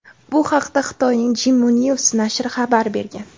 Bu haqda Xitoyning "Jimu News" nashri xabar bergan.